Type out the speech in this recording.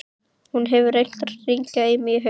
Hún hefur reynt að hringja í mig í haust.